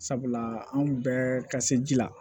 Sabula anw bɛɛ ka se ji la